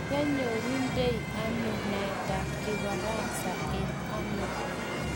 koinyorunde ano naetab kifaransa eng ano?